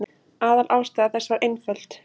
Aðalástæða þess var einföld.